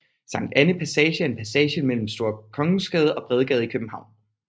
Sankt Annæ Passage er en passage mellem Store Kongensgade og Bredgade i København